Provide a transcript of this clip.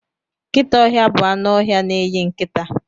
Nkịta ọhịa bụ anụ ọhịa na-eyi nkịta.